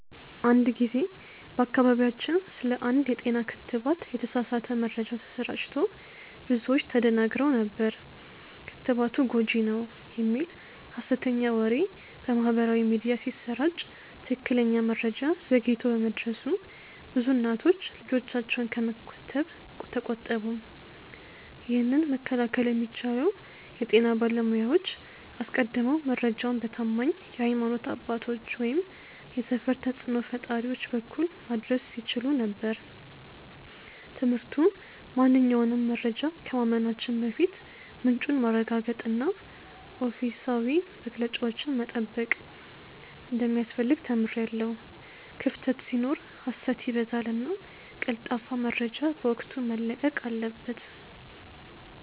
አንድ ጊዜ በአካባቢያችን ስለ አንድ የጤና ክትባት የተሳሳተ መረጃ ተሰራጭቶ ብዙዎች ተደናግረው ነበር። ክትባቱ ጎጂ ነው" የሚል ሀሰተኛ ወሬ በማህበራዊ ሚዲያ ሲሰራጭ ትክክለኛ መረጃ ዘግይቶ በመድረሱ ብዙ እናቶች ልጆቻቸውን ከመከተብ ተቆጠቡ። ይህንን መከላከል የሚቻለው የጤና ባለሙያዎች አስቀድመው መረጃውን በታማኝ የሀይማኖት አባቶች ወይም የሰፈር ተጽእኖ ፈጣሪዎች በኩል ማድረስ ሲችሉ ነበር። ትምህርቱ ማንኛውንም መረጃ ከማመናችን በፊት ምንጩን ማረጋገጥና ኦፊሴላዊ መግለጫዎችን መጠበቅ እንደሚያስፈልግ ተምሬያለሁ። ክፍተት ሲኖር ሀሰት ይበዛልና ቀልጣፋ መረጃ በወቅቱ መለቀቅ አለበት።